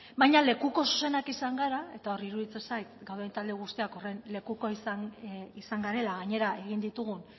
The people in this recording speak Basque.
baina lekuko zuzenak izan gara eta hor iruditzen zait gauden talde guztiak horren lekuko izan garela gainera egin ditugun